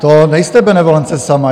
To nejste benevolence sama.